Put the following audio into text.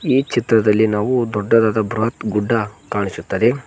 ಈ ಚಿತ್ರದಲ್ಲಿ ನಾವು ದೊಡ್ಡದಾದ ಬೃಹತ್ ಗುಡ್ಡ ಕಾಣಿಸುತ್ತದೆ.